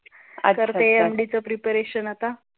MD च preparation अत्ता